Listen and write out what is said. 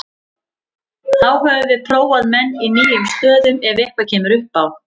Þá höfum við prófað menn í nýjum stöðum ef eitthvað kemur upp á.